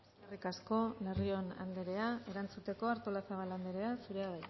eskerrik asko larrion anderea erantzuteko artolazabal anderea zurea